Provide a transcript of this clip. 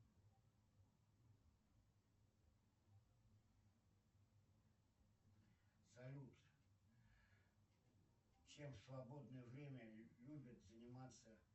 салют чем в свободное время любят заниматься